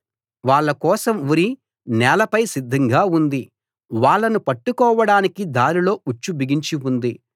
వాళ్ళ కోసం ఉరి నేలపై సిద్ధంగా ఉంది వాళ్ళను పట్టుకోవడానికి దారిలో ఉచ్చు బిగించి ఉంది